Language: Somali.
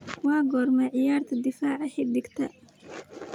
waa goorma ciyaarta difaaca xigta